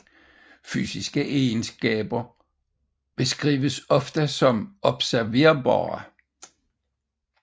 Fysiske egenskaber beskrives ofte som observerbare